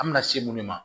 An bɛna se minnu ma